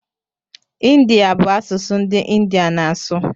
Ịndiya bụ asụsụ ndị India na-asụ